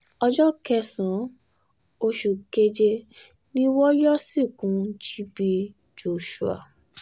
ọjọ́ kẹsàn-án oṣù um keje ni wọn yóò sìnkú gb joshua